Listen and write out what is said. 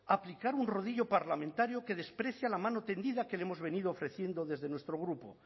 a aplicar un rodillo parlamentario que desprecia la mano tendida que le hemos venido ofreciendo desde nuestro grupo